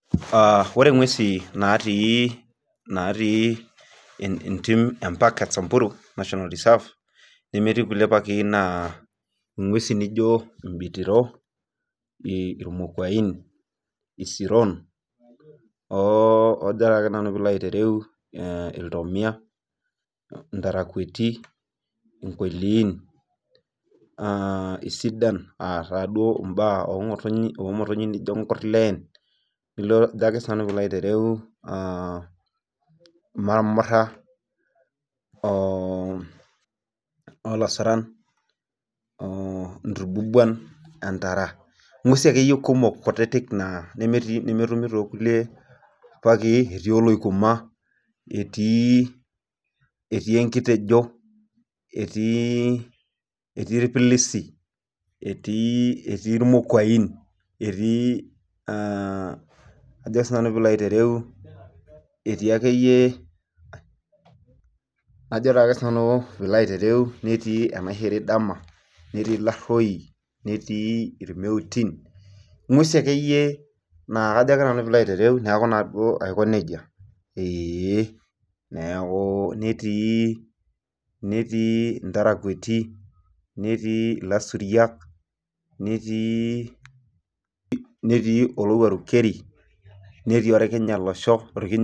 Aa ore ngwesu natii entim e samburu national reserve nemetii nkulie paaki na ngwesi nijo imbitiro ,imokuain, isiron najobna nanu pilo ayilou iltomia, inkoilin, isidan omotonyi nijo nkurleen marmura oo lasuran llnturbubuan, entarangwesu akeyie nemetii nemerumi to nkulie paki etii oloikuma etii enkitejo etii irpilisi etii irmokuain etii akeyie ajo nanu enaishiri dama netii irmeutin ngwesu akeyie na kajo nanu pilo aitereu neaku aiko nejia ee neaku netii ntarakueini ,netii lasuriak netii olowuaru keri netii orkinya lasho